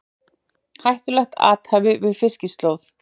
Hættulegt athæfi við Fiskislóð